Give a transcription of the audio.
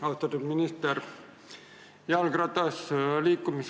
Austatud minister!